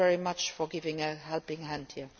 Thank you very much for giving a helping hand here.